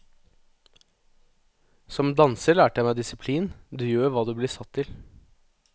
Som danser lærte jeg meg disiplin, du gjør hva du blir satt til.